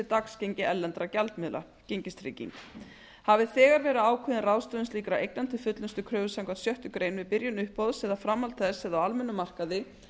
dagsgengi erlendra gjaldmiðla gengistrygging hafi þegar verið ákveðin ráðstöfun slíkra eigna til fullnusta kröfu samkvæmt sjöttu grein er byrjun uppboðs eða framhald þess á almennum markaði